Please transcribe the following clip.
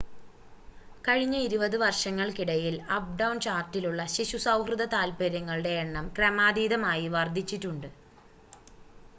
കഴിഞ്ഞ 20 വർഷങ്ങൾക്കിടയിൽ അപ്‌ടൗൺ ചാർലട്ടിലുള്ള ശിശു സൗഹൃദ താത്പര്യങ്ങളുടെ എണ്ണം ക്രമാതീതമായി വർധിച്ചിട്ടുണ്ട്